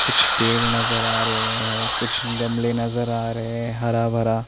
कुछ पेड़ नजर आ रहे हैं कुछ गमले नजर आ रहे हैं हरा भरा--